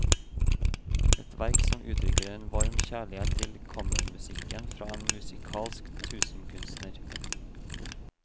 Et verk som uttrykker en varm kjærlighet til kammermusikken fra en musikalsk tusenkunstner.